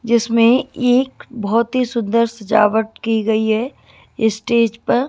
जिसमें एक बहोत ही सुंदर सजावट की गई है स्टेज पर--